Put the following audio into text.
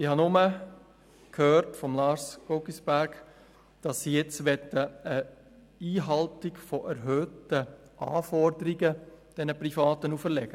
Ich habe nur von Grossrat Guggisberg gehört, dass sie diesen Privaten nun die Einhaltung erhöhte Anforderungen auferlegen möchten.